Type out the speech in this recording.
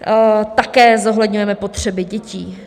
Také zohledňujeme potřeby dětí.